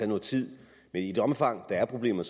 noget tid men i det omfang der er problemer